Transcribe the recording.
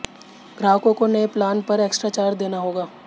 ग्राहकों को नये प्लान पर एक्स्ट्रा चार्ज देना होगा